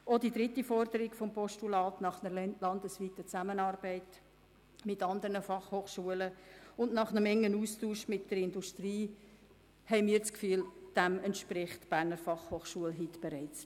Auch der dritten Forderung des Postulats nach einer landesweiten Zusammenarbeit mit anderen FH und nach einem Austausch mit der Industrie entspricht die BFH gemäss unserer Einschätzung bereits.